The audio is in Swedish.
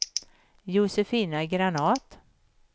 Josefina Granath